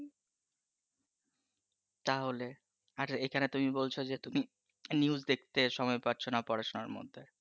তাহলে, আর এখানে তুমি বলছো যে তুমি news দেখতে সময় পাচ্ছো না, পড়াশোনার মধ্যে